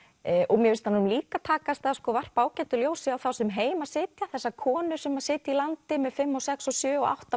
tundurskeyta mér finnst honum líka takast að varpa ágætu ljósi á þá sem heima sitja þessar konur sem sitja í landi með fimm sex sjö og átta